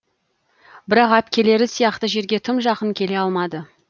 бірақ әпкелері сияқты жерге тым жақын келе алмады